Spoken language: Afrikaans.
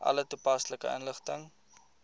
alle toepaslike inligting